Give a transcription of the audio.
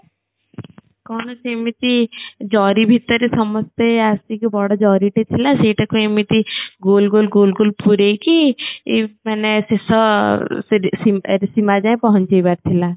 କଣ ନା ସେ ଏମିତି ଜରି ଭିତରେ ସମସ୍ତେ ଆସିକି ବଡ଼ ଜରି ଟେ ଥିଲା ସେଇଟା କୁ ଏମିତି ଗୋଲ ଗୋଲ ଗୋଲ ଗୋଲ ପୁରେଇକି ଈ ମାନେ ଶେଷ ସୀମା ଯାଇଁ ପହଞ୍ଚିବାର ଥିଲା